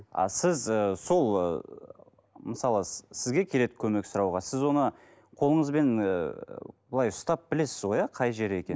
а сіз ы сол ы мысалы сізге келеді көмек сұрауға сіз оны қолыңызбен ыыы былай ұстап білесіз ғой иә қай жері екенін